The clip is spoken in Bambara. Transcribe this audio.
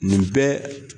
Nin bɛɛ